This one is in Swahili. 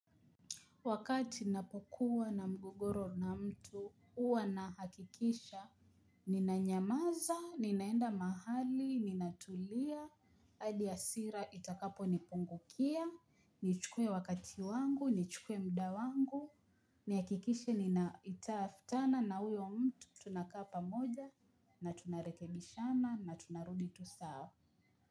Wakati napokuwa na mgogoro na mtu, huwa nahakikisha, ninanyamaza, ninaenda mahali, ninatulia, adi hasira itakaponipungukia, nichukue wakati wangu, nichukue mda wangu, nihakikishe ninaitaftana na huyo mtu tunakaa pamoja, na tunarekebishana, na tunarudi tu saa.